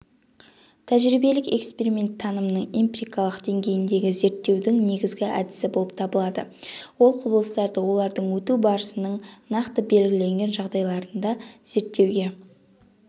тәжірибелік эксперимент танымның эмпирикалық дейгейіндегі зерттеудің негізгі әдісі болып табылады ол құбылыстарды олардың өту барысының нақты белгіленген жағдайларында зерттеуге